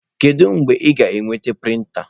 Kedu mgbe ị ga-enweta prịnta?